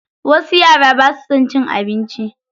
Wasu yara basa son cin abinci.